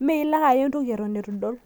ime ilo ake aya entoki eton eitu idol.